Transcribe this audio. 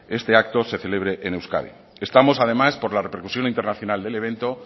este acto se celebre en euskadi estamos además por la repercusión internacional del evento